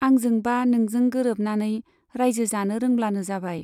आंजों बा नोंजों गोरोबनानै राइजो जानो रोंब्लानो जाबाय।